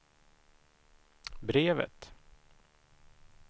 brevet